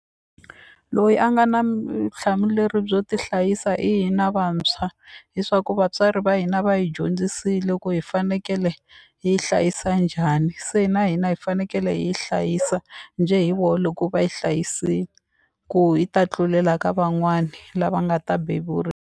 Loyi a nga na byo tihlayisa hi hina vantshwa leswaku vatswari va hina va hi dyondzisile ku hi fanekele hi hlayisa njhani se na hina hi fanekele hi hlayisa njhe hi vo loko va yi hlayisile ku hi ta tlulela ka van'wani lava nga ta .